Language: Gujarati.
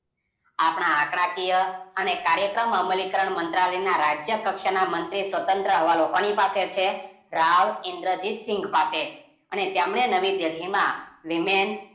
આપણા આંકડાકીય અને કરાયક્રમ અમલીકરણ મંત્રાલયના રાજ્ય કક્ષાના મંત્રી સ્વત્રંત હવાલો કોની પાસે છે રાવ ઇંદ્રજીતસિંગ પાસે અને એમને નવી દિલ્હીમા Woman